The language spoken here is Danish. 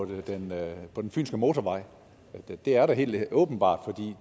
på den fynske motorvej det er der helt åbenbart for